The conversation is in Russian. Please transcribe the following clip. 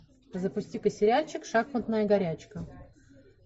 запустика сериальчик шахматная горячка